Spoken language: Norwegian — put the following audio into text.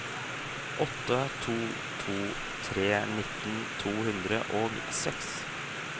åtte to to tre nitten to hundre og seks